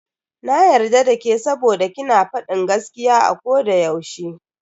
Na yarda dake saboda ki na fadin gaskiya a koda yaushe.